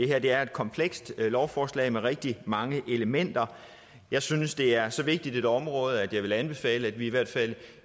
er et komplekst lovforslag med rigtig mange elementer jeg synes at det er så vigtigt et område at jeg vil anbefale at vi i hvert fald